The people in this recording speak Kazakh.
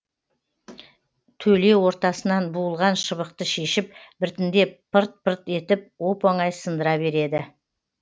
төле ортасынан буылған шыбықты шешіп біртіндеп пырт пырт етіп оп оңай сындыра береді